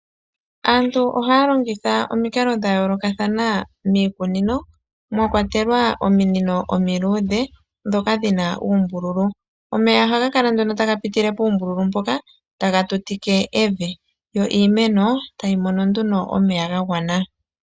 Aantu ohaya longitha omikalo dha yoolokathana miikunino mwa kwatelwa ominino omiluudhe ndhoka dhi na uumbululu. Omeya ohaga kala nduno taga piti puumbululu mpoka taga tutike evi. Yo iimeno tayi mono nduno omeya ga gwana.